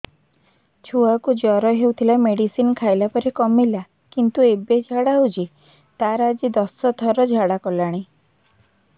ଛୁଆ କୁ ଜର ହଉଥିଲା ମେଡିସିନ ଖାଇଲା ପରେ କମିଲା କିନ୍ତୁ ଏବେ ଝାଡା ହଉଚି ତାର ଆଜି ଦଶ ଥର ଝାଡା କଲାଣି